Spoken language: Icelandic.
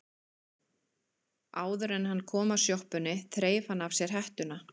Áður en hann kom að sjoppunni þreif hann af sér hettuna.